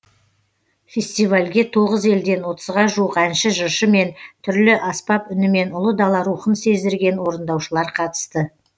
фестивальге тоғыз елден отызға жуық әнші жыршы мен түрлі аспап үнімен ұлы дала рухын сездірген орындаушылар қатысты